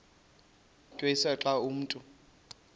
tyenziswa xa umntu